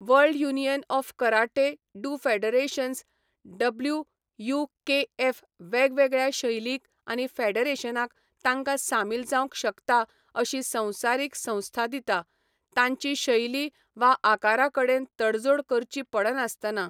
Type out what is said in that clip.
World union of karate do federations WUKF वेगवेगळ्या शैलींक आनी फेडरेशनांक तांकां सामील जावंक शकता अशी संवसारीक संस्था दिता, तांची शैली वा आकारा कडेन तडजोड करची पडनासतना.